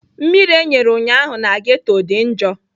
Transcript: Mmiri e nyere ụnyaahụ na ghetto dị njọ.